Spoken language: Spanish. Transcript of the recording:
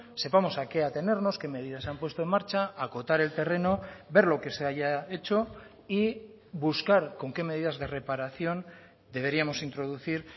sepamos a qué atenernos qué medidas se han puesto en marcha acotar el terreno ver lo que se haya hecho y buscar con qué medidas de reparación deberíamos introducir